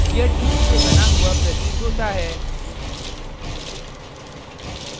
यह tube से बना हुआ प्रतीत होता है